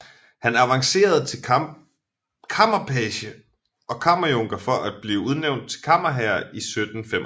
Han avancerede til kammerpage og kammerjunker for at blive udnævnt til kammerherre i 1785